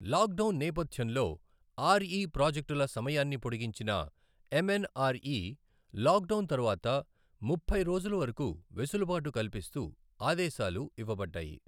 Lockdown నేపథ్యంలో RE ప్రాజెక్టుల సమయాన్ని పొడిగించిన ఎంఎన్ఆర్ఈ లాక్డౌన్ తరువాత ముప్పై రోజుల వరకు వెసులుబాటు కల్పిస్తూ ఆదేశాలు ఇవ్వబడ్డాయి.